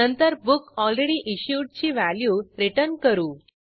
नंतर बुकलरेडीइश्युड ची व्हॅल्यू रिटर्न करू